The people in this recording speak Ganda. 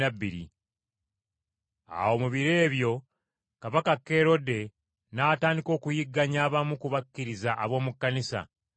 Awo mu biro ebyo Kabaka Kerode n’atandika okuyigganya abamu ku bakkiriza ab’omu Kkanisa.